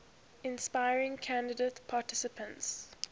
inspiring candidate participants